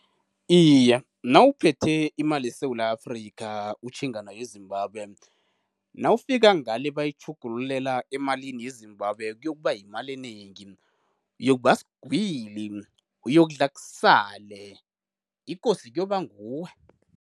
Iye, nawuphethe imali yeSewula Afrika utjhinga nayo eZimbabwe, nawufika ngale bayitjhugululela emalini yeZimbabwe kuzokuba yimali enengi. Uyokuba sigwili, uyokudla kusale, ikosi kuyoba nguwe.